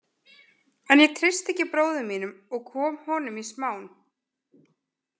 En ég treysti ekki bróður mínum og kom honum í smán.